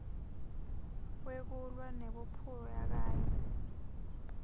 wekulwa nebuphuya kanye